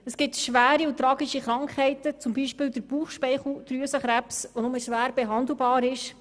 Es gibt schwere und tragische Krankheiten, wie etwa den Bauchspeicheldrüsenkrebs, die nur schwer behandelbar sind.